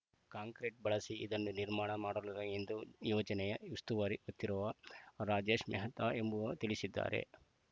concrete ಬಳಸಿ ಇದನ್ನು ನಿರ್ಮಾಣ ಮಾಡಲರರು ಎಂದು ಯೋಜನೆಯ ಉಸ್ತುವಾರಿ ಹೊತ್ತಿರುವ ರಾಜೇಶ್‌ ಮೆಹ್ತಾ ಎಂಬುವ ತಿಳಿಸಿದ್ದಾರೆ